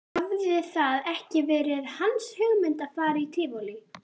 Hafði það ekki verið hans hugmynd að fara í Tívolí?